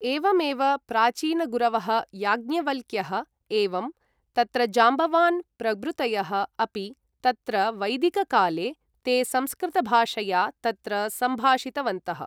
एवमेव प्राचीनगुरवः याज्ञवल्क्यः एवं तत्र जाम्बवान् प्रभृतयः अपि तत्र वैदिककाले ते संस्कृतभाषया तत्र सम्भाषितवन्तः।